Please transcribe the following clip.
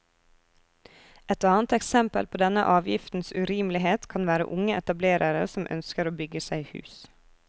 Et annet eksempel på denne avgiftens urimelighet kan være unge etablerere som ønsker å bygge seg hus.